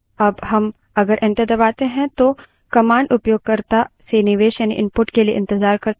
अब हम अगर enter दबाते हैं तो command उपयोगकर्ता से निवेश यानि input के लिए इंतज़ार करता है